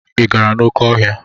Ị gara n'oké ọhịa?